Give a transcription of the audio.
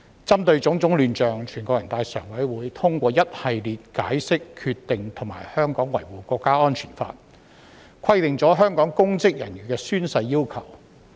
針對種種亂象，全國人大常委會通過一系列解釋、決定和《香港國安法》，就香港公職人員的宣誓要求作出規定。